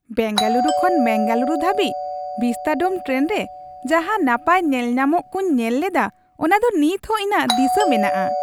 ᱵᱮᱝᱜᱟᱞᱩᱨᱩ ᱠᱷᱚᱱ ᱢᱮᱝᱜᱟᱞᱩᱨᱩ ᱫᱷᱟᱹᱵᱤᱡ vistadome train ᱨᱮ ᱡᱟᱦᱟᱸ ᱱᱟᱯᱟᱭ ᱧᱮᱞᱧᱟᱢᱚᱜ ᱠᱚᱧ ᱧᱮᱞ ᱞᱮᱫᱟ ᱚᱱᱟ ᱫᱚ ᱱᱤᱛᱦᱚᱸ ᱤᱧᱟᱜ ᱫᱤᱥᱟᱹ ᱢᱮᱱᱟᱜᱼᱟ ᱾